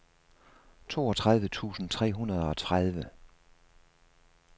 toogtredive tusind tre hundrede og tredive